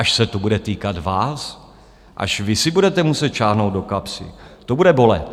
Až se to bude týkat vás, až vy si budete muset sáhnout do kapsy, to bude bolet.